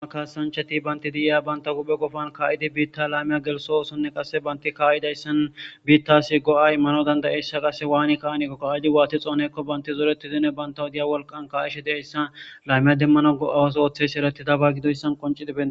Tuma kaanchati baynti di7iya banta huphe qofan kaa7idi biitta laymiya gelso oosonne qasse baynti kaayidayssan biittasi go7ay imanna dandayissiiyiya qasse waani ka7anako ka7idi waati xooneekko baynti zooreti zine baynta huphiya wolqan kaa7ishe de7iyayssa laymiya demmano go7awas ooththeysi ereti daba gidoyssan qoncidi bettes